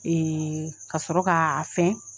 ka sɔrɔ k'aa fɛn